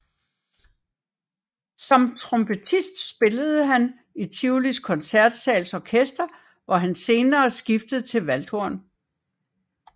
Som trompetist spillede han i Tivolis Koncertsals Orkester hvor han senere skiftede til valdhorn